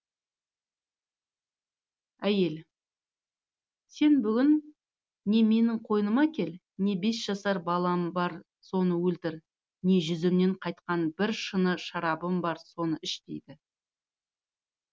әйел сен бүгін не менің қойныма кел не бес жасар балам бар соны өлтір не жүзімнен қайтқан бір шыны шарабым бар соны іш дейді